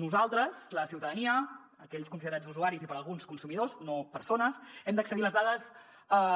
nosaltres la ciutadania aquells considerats usuaris i per a alguns consumidors no persones hem d’accedir a les dades